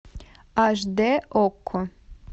аш дэ окко